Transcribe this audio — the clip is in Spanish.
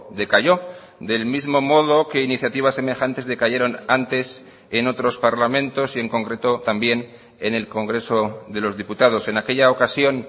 decayó del mismo modo que iniciativas semejantes decayeron antes en otros parlamentos y en concreto también en el congreso de los diputados en aquella ocasión